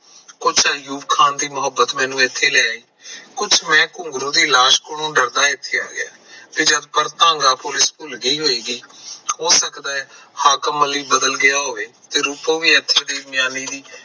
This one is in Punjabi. ਕੁਛ ਅਯੂਬ ਖਾਨ ਦੀ ਮਹੁਬਤ ਮੈਨੂੰ ਇੱਥੇ ਲੈ ਆਈ ਕੁਛ ਮੈਂ ਘੁੰਗਰੂ ਦੀ ਲਾਸ਼ ਕੋਲੋਂ ਡਰਦਾ ਇੱਥੇ ਆ ਗਿਆ ਤੇ ਪੁਲਿਸ ਭੁੱਲ ਗਈ ਹੋਵੇਗੀ ਤੇ ਹੋ ਸਕਦਾ ਹੈ ਹਾਕਮ ਅਲੀ ਬਦਲ ਗਿਆ ਹੋਵੇ ਤੇ ਰੂਪੋ ਵੀ ਮਿਆਨੀ